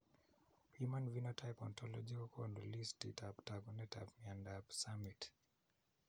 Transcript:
Human phenotype ontology kokoonu listiitab taakunetaab myondap summitt.